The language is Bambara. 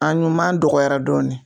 A ɲuman dɔgɔyara dɔɔni